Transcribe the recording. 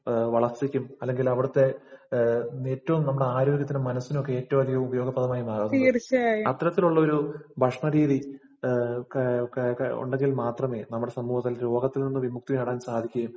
വളര്‍ച്ചയ്ക്കും, അല്ലെങ്കില്‍ അവിടത്തെ ഏറ്റവും നമ്മുടെ ആരോഗ്യത്തിനും, മനസിനുമൊക്കെ ഏറ്റവും അധികം ഉപയോഗപ്രദമായി മാറുന്നത്. അത്തരത്തിലുള്ള ഒരു ഭക്ഷണരീതി ക.ക.ക ഉണ്ടെങ്കില്‍ മാത്രമേ നമ്മുടെ സമൂഹത്തിന് രോഗത്തില്‍ നിന്ന് വിമുക്തി നേടാന്‍ സാധിക്കുകയും,